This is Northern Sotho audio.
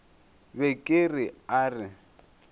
be ke re a re